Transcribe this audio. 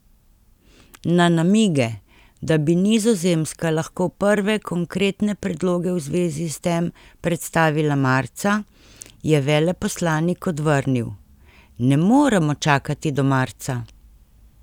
Na namige, da bi Nizozemska lahko prve konkretne predloge v zvezi s tem predstavila marca, je veleposlanik odvrnil: 'Ne moremo čakati do marca.